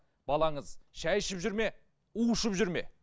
балаңыз шай ішіп жүр ме у ішіп жүр ме